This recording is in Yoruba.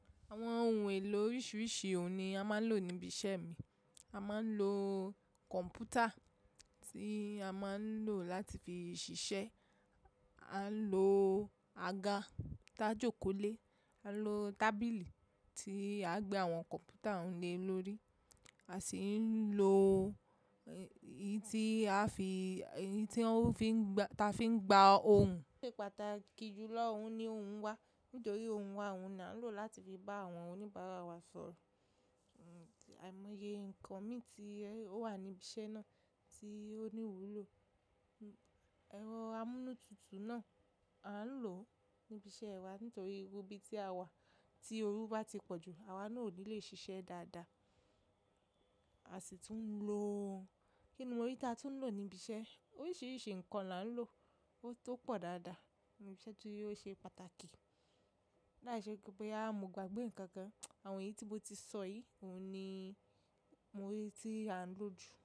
Àwọn ohun èlò oríṣiríṣi òun ni a máa ń lò níbi iṣẹ́ mi. A máa ń lo kọ̀ǹpútà tí a máa ń lò láti fi ṣiṣẹ́. A ń lo àga tá jòkó lé. A ń lo tábìlì tí à ń gbé àwọn kọ̀ǹpútà òun lé lórí. A sì ń lo èyí tí a fi, èyí tí wọ́n fi ń gba, ta fi ń gba ohun. Pátákì jù lọ, òun ni ohun wá. Nítorí ohun wá òun ni a ń lò láti fi bá àwọn oníbàárà wa sọ̀rọ̀. Àìmọye nǹkan mi tí ó wà níbi iṣẹ́ náà tí ó ní wúlò. Ẹ̀rọ amúnútutù náà a ń lò níbi iṣẹ́ wa nítorí irú ibi tí a wà tí orú bá ti pọ̀ jù, àwa náà ò ní lè ṣiṣẹ́ dáadáa. A sì tún ń lo, kí ni mo rí tí a tún ń lò níbi iṣẹ́? Oríṣiríṣi nǹkan la ń lò. Ó tó pọ̀ dáadáa níbi iṣẹ́ torí ó ṣe pàtàkì. Láìṣẹ́ wí pé bóyá mò gbàgbé ǹkan kan. Àwọn èyí tí mo ti sọ yìí òun ni mo ríi tí a ń lò jù.